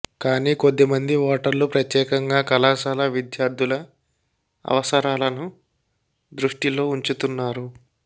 కానీ కొద్ది మంది ఓటర్లు ప్రత్యేకంగా కళాశాల విద్యార్థుల అవసరాలను దృష్టిలో ఉంచుతున్నారు